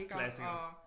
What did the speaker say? Klassiker